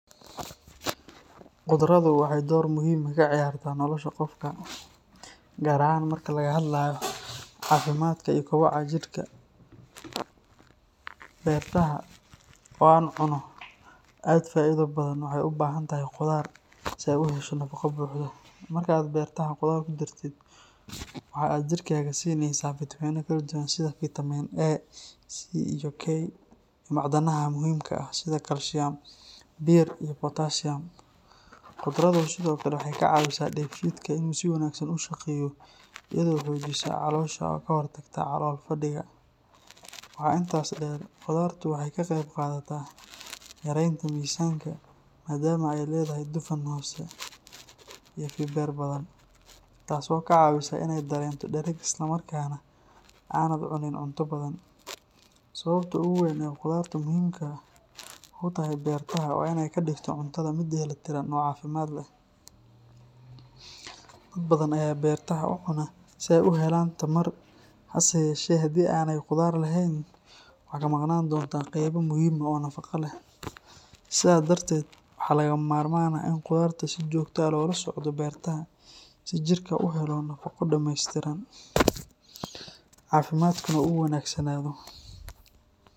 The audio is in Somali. Qudradu waxay door muhiim ah ka ciyaartaa nolosha qofka, gaar ahaan marka laga hadlayo caafimaadka iyo koboca jidhka. Bertaha, oo ah cunno aad u faa’iido badan, waxay u baahan tahay qudaar si ay u hesho nafaqo buuxda. Marka aad bertaha qudaar ku dartid, waxa aad jirkaaga siinaysaa fitamiinno kala duwan sida fitamiin A, C, iyo K, iyo macdanaha muhiimka ah sida kaalshiyam, bir iyo potassium. Qudradu sidoo kale waxay ka caawisaa dheefshiidka inuu si wanaagsan u shaqeeyo, iyadoo xoojisa caloosha oo ka hortagta calool-fadhiga. Waxaa intaas dheer, qudartu waxay ka qayb qaadataa yaraynta miisaanka maadaama ay leedahay dufan hoose iyo fiber badan, taasoo kaa caawisa inaad dareento dhereg isla markaana aanad cunin cunto badan. Sababta ugu weyn ee qudarta muhiimka ugu tahay bertaha waa in ay ka dhigto cuntada mid dheellitiran oo caafimaad leh. Dad badan ayaa bertaha u cuna si ay u helaan tamar, hase yeeshee haddii aanay qudaar lahayn, waxaa ka maqnaan doona qaybo muhiim ah oo nafaqo ah. Sidaa darteed, waxaa lagama maarmaan ah in qudarta si joogto ah loola socdo bertaha si jirku u helo nafaqo dhameystiran, caafimaadkuna u wanaagsanaado.